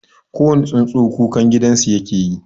Kowane tsuntsu kukan gidansu yake yi.